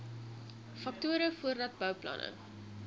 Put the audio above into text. faktore voordat bouplanne